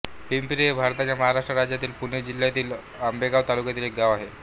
पिंपरी हे भारताच्या महाराष्ट्र राज्यातील पुणे जिल्ह्यातील आंबेगाव तालुक्यातील एक गाव आहे